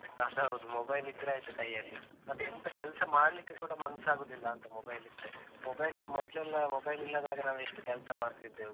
ಅದ್ ಹೌದು. mobile ಇದ್ರೆ ಆಯ್ತು ಕೈಯ್ಯಲ್ಲಿ ಮತ್ತೆ ಎಂತ ಕೆಲ್ಸ ಮಾಡ್ಲಿಕ್ಕೆ ಕೂಡ ಮನ್ಸಾಗುದಿಲ್ಲಾಂತ mobile ಇದ್ರೆ. mobile ಮೊದ್ಲೆಲ್ಲ mobile ಇಲ್ಲದಾಗ ನಾವು ಎಷ್ಟು ಕೆಲ್ಸ ಮಾಡ್ತಿದ್ದೆವು.